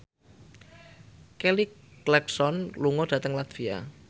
Kelly Clarkson lunga dhateng latvia